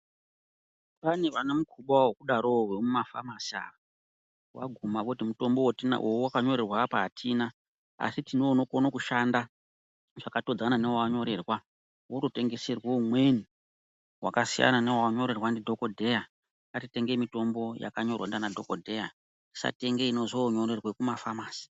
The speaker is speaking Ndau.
Pane vane mukuba wekudaro wo vemumafamasi ava waguma voti mutombo waawakanyorerwa apa atina asi tino unokone kushanda zvakatidzana newawanyorerwa Wototengeserwe umweni wakasiyana newawanyorerwa ndidhokodheya ngatitenge mitombo yakanyorwa ndiana dhokodheya tisatenge inozonyorerwe kumafamasi.